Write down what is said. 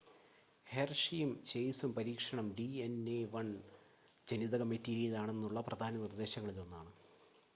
ഹെർഷിയും ചേസും പരീക്ഷണം ഡിഎൻഎ 1 ജനിതക മെറ്റീരിയലാണെന്നുള്ള പ്രധാന നിർദ്ദേശങ്ങളിലൊന്നാണ്